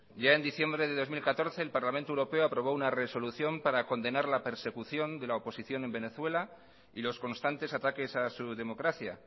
ya en diciembre de dos mil catorce el parlamento europeo aprobó una resolución para condenar la persecución de la oposición en venezuela y los constantes ataques a su democracia